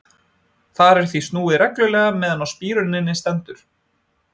Þar er því snúið reglulega meðan á spíruninni stendur.